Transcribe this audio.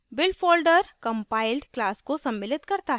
build folder compiled class को सम्मिलित करता है